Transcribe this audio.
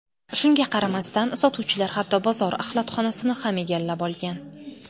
Shunga qaramasdan, sotuvchilar hatto bozor axlatxonasini ham egallab olgan.